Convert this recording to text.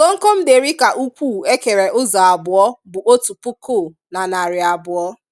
Komkom derica ukwuu e kere ụzọ abụọ bụ otu puku na narị abụọ.